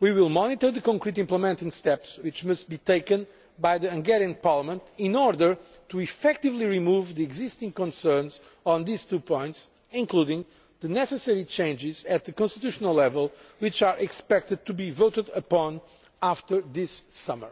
We will monitor the specific implementing steps which must be taken by the Hungarian Parliament in order to effectively dispel the existing concerns on these two points, including the necessary changes at constitutional level which are expected to be voted upon after this summer.